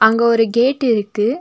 அங்க ஒரு கேட் இருக்கு.